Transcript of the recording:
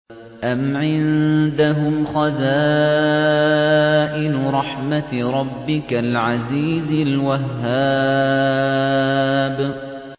أَمْ عِندَهُمْ خَزَائِنُ رَحْمَةِ رَبِّكَ الْعَزِيزِ الْوَهَّابِ